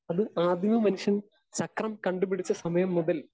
speaker 2 അത് ആദ്യമമനുഷ്യൻ ചക്രം കണ്ടുപിടിച്ചസമയം മുതൽ